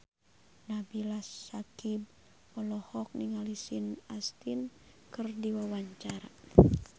Nabila Syakieb olohok ningali Sean Astin keur diwawancara